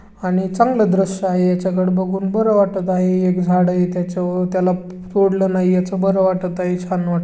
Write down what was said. आणि चांगलं दृश्य आहे. ह्याच्याकड बघून बर वाटत आहे. एक झाड आहे. त्याच्यावर त्याला तोडलं नाही याच बर वाटत आहे. छान वाटत--